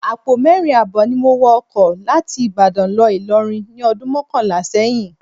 Àpò mẹ́rin ààbọ̀ ni mo wọ ọkọ láti Ìbàdàn lọ Ìlọrin ní ọdún mọ́kànlá sẹ́yìn